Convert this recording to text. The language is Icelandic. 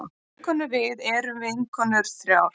Vinkonurvið erum vinkonur þrjár.